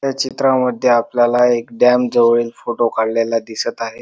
या चित्रा मध्ये आपल्याला एक डॅम जवळील फोटो काढलेला दिसत आहे.